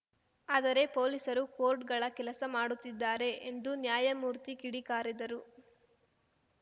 ಆದರೆ ಪೊಲೀಸರು ಕೋರ್ಟ್‌ಗಳ ಕೆಲಸ ಮಾಡುತ್ತಿದ್ದಾರೆ ಎಂದು ನ್ಯಾಯಮೂರ್ತಿ ಕಿಡಿಕಾರಿದರು